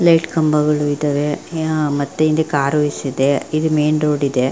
Light ಕಂಬಗಳು ಇದ್ದವೇ ಮುಂದೆ ಕರ್ವ್ಸ್ ಇದೆ ಇದು ಮೇನ್ ರೋಡ್ ಇದೆ.